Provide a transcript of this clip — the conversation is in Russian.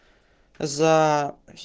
за